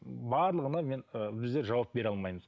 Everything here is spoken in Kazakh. барлығына мен ы біздер жауап бере алмаймыз